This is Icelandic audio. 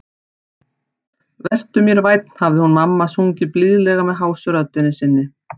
Vertu mér vænn, hafði hún mamma sungið blíðlega með hásu röddinni sinni.